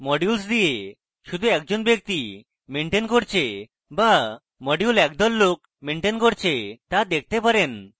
modules দিয়ে শুধু একজন ব্যক্তি maintain করছে তা বা module একদল লোক maintain করছে তা দেখতে পারেন